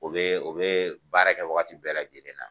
U bɛ u bɛ baara kɛ wagati bɛɛ lajɛlen na.